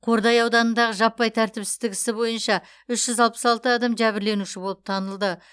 қордай ауданындағы жаппай тәртіпсіздік ісі бойынша үш жүз алпыс алты адам жәбірленуші болып танылды